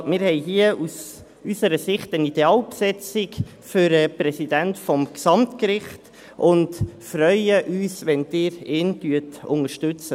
Also: Wir haben hier aus unserer Sicht eine Idealbesetzung für den Präsidenten des Gesamtgerichts und freuen uns, wenn Sie ihn unterstützen.